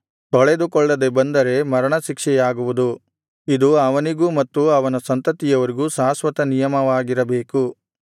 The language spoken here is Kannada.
ತೊಳೆದುಕೊಳ್ಳದೆ ಬಂದರೆ ಮರಣ ಶಿಕ್ಷೆಯಾಗುವುದು ಇದು ಅವನಿಗೂ ಮತ್ತು ಅವನ ಸಂತತಿಯವರಿಗೂ ಶಾಶ್ವತ ನಿಯಮವಾಗಿರಬೇಕು